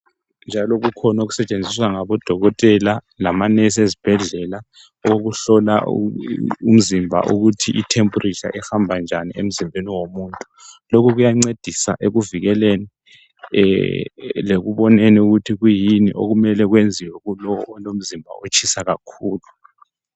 Njalo kukhona okusetshenziswa ngabodokotela labonesi ezibhedlela okuhlola umzimba ukuthi itemperature ihamba njani emzimbeni womuntu lokhu kuyancedisa ekuvikeleni lekuboneni ukuthi kuyini okumele kwenziwe kulowo olomzimba otshisa kakhulu